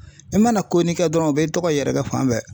I mana ko ni kɛ dɔrɔnw, u bɛ i tɔgɔ yɛrɛ kɛ fan bɛɛ.